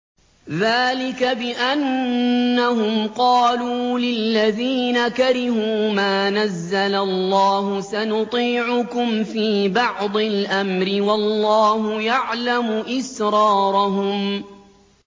ذَٰلِكَ بِأَنَّهُمْ قَالُوا لِلَّذِينَ كَرِهُوا مَا نَزَّلَ اللَّهُ سَنُطِيعُكُمْ فِي بَعْضِ الْأَمْرِ ۖ وَاللَّهُ يَعْلَمُ إِسْرَارَهُمْ